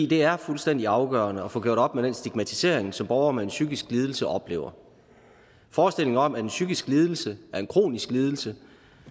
det er fuldstændig afgørende at få gjort op med den stigmatisering som borgere med en psykisk lidelse oplever forestillingen om at en psykisk lidelse er en kronisk lidelse